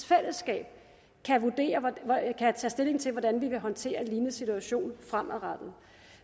fællesskab kan tage stilling til hvordan vi vil håndtere en lignende situation fremadrettet